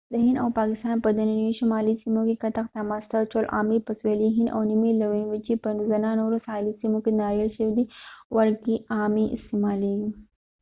د هند او پاکستان په دننیو شمالي سیمو کې کتغ ته ماسته اچول عام دي په سوېلي هند او د نیمې لوی وچې په ځنه نورو ساحلي سیمو کې د ناریل شودې ورکې عامې استعمالیږي